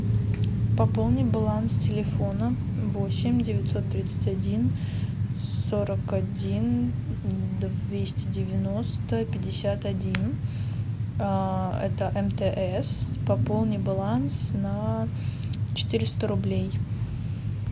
пополни баланс телефона восемь девятьсот тридцать один сорок один двести девяносто пятьдесят один а это мтс пополни баланс на четыреста рублей